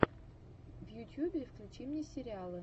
в ютьюбе включи мне сериалы